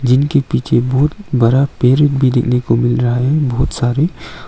जिनके पीछे बहुत बड़ा पेड़ भी देखने को मिल रहा है बहुत सारे।